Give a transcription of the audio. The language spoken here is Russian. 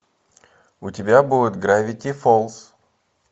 у тебя будет гравити фолз